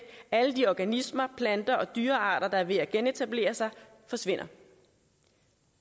alle de organismer planter og dyrearter der er ved at genetablere sig forsvinder og